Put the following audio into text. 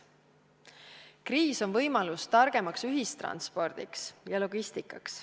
Kriis on võimalus targemaks ühistranspordiks ja logistikaks.